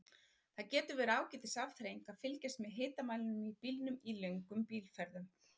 Það getur verið ágætis afþreying að fylgjast með hitamælinum í bílnum í löngum bílferðum.